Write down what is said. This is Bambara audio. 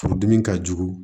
Furudimi ka jugu